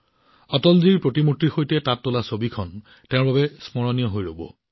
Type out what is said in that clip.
অটলজীৰ সৈতে তাত তোলা ছবিখন তেওঁৰ বাবে স্মৰণীয় হৈ পৰিছে